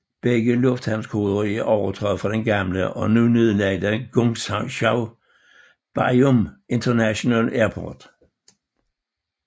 Begge lufthavnskoder er overtaget fra den gamle og nu nedlagte Guangzhou Baiyun International Airport